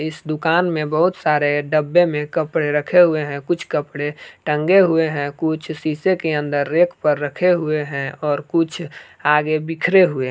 इस दुकान में बहुत सारे डब्बे में कपड़े रखे हुए हैं कुछ कपड़े टंगे हुए हैं कुछ शीशे के अंदर रेक पर रखे हुए हैं और कुछ आगे बिखरे हुए हैं।